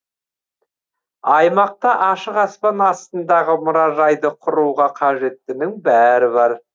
аймақта ашық аспан астындағы мұражайды құруға қажеттінің бәрі бар